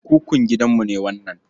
Kukun gidanmu ne wannan.